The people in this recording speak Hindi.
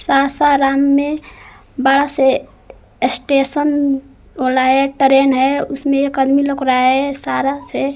साशा राम में बड़ा स्टेशन ट्रेन है उसमें एक आदमी लउक रहा है सारा से--